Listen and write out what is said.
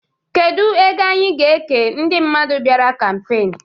Kedu ego anyị ga-eke ndị mmadụ bịara kampeen?